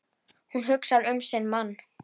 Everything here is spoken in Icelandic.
Hún hugsar um sinn mann.